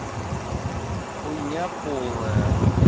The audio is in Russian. хуйня полная